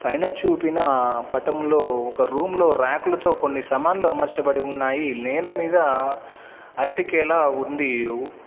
పైన చూపిన పటంలో ఒక రూమ్ లో రాకులతో కొన్ని సామాన్లు అమర్చబడి ఉన్నాయి నేల మీద అరటి కేల ఉంది.